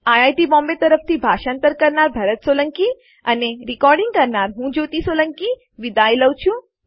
IIT Bombay તરફથી ભાષાંતર કરનાર હું ભરત સોલંકી વિદાય લઉં છું